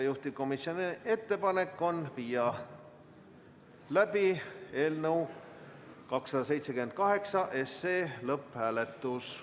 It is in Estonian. Juhtivkomisjoni ettepanek on viia läbi eelnõu 278 lõpphääletus.